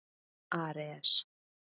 Ares